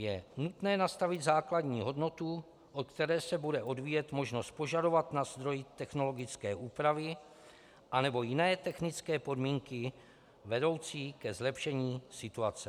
Je nutné nastavit základní hodnotu, od které se bude odvíjet možnost požadovat na zdroji technologické úpravy anebo jiné technické podmínky vedoucí ke zlepšení situace.